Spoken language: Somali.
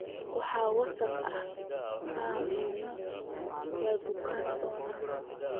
Wax wasakh ah ha cunin, waad bukoon doontaa.